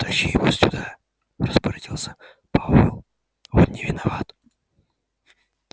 тащи его сюда распорядился пауэлл он не виноват